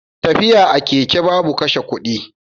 Tafiya a keke babu kashe kudi.